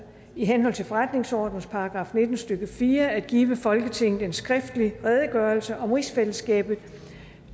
i henhold til forretningsordenens § nitten stykke fire at give folketinget en skriftlig redegørelse om rigsfællesskabet